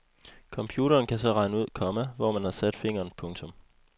Computeren kan så regne ud, komma hvor man har sat fingeren. punktum